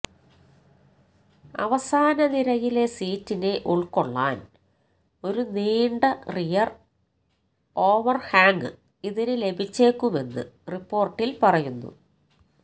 അവസാന നിരയിലെ സീറ്റിനെ ഉള്ക്കൊള്ളാന് ഒരു നീണ്ട റിയര് ഓവര്ഹാംഗ് ഇതിന് ലഭിച്ചേക്കുമെന്ന് റിപ്പോര്ട്ടില് പറയുന്നു